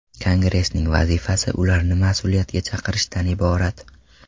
Kongressning vazifasi ularni mas’uliyatga chaqirishdan iborat.